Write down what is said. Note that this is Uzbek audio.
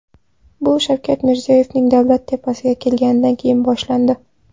Bu Shavkat Mirziyoyev davlat tepasiga kelganidan keyin boshlandi.